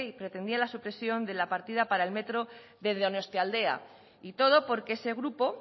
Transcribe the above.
pretendía la supresión de la partida para el metro de donostialdea y todo porque ese grupo